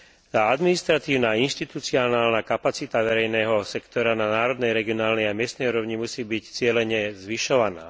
Tá administratívna a inštitucionálna kapacita verejného sektora na národnej, regionálnej a miestnej úrovni musí byť cielene zvyšovaná.